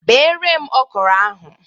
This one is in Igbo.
Beere m okro ahụ.